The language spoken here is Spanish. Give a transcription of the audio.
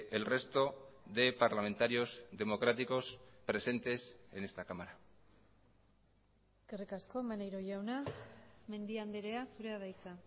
el resto de parlamentarios democráticos presentes en esta cámara eskerrik asko maneiro jauna mendia andrea zurea da hitza